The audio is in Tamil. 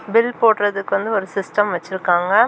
பில் போடறதுக்கு வந்து ஒரு சிஸ்டம் வச்சிருக்காங்க.